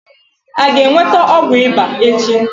A ga-enweta ọgwụ ịba echi?